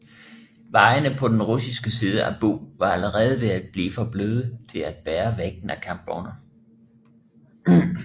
Vejene på den russiske side af Bug var allerede ved at blive for bløde til at bære vægten af kampvogne